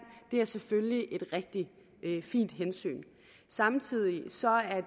er selvfølgelig et rigtig fint hensyn samtidig